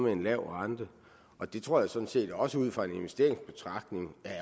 en lav rente og det tror jeg sådan set også ud fra en investeringsbetragtning